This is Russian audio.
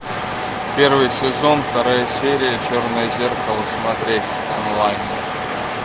первый сезон вторая серия черное зеркало смотреть онлайн